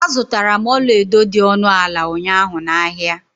Azutara m ọlaedo dị ọnụ ala ụnyaahụ na ahịa.